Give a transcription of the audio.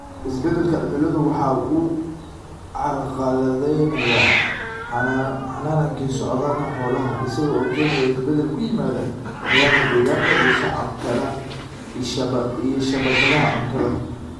Isbeddelka cimiladu waxa uu carqaladaynayaa hannaankii socdaalka xoolaha, isaga oo keenaya isbeddel ku yimaadda nidaamka deegaanka iyo shabakadaha cuntada.